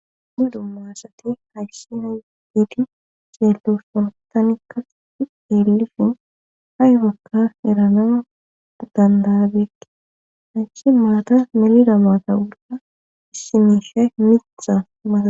Dumma dumma asati hayssina giidi xeeltosshontanikka eelifin haibakka erana dandaabeekki hayssi maata melida maata wurda issimiishe mixa maata.